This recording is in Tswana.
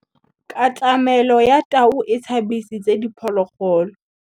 Katamêlô ya tau e tshabisitse diphôlôgôlô.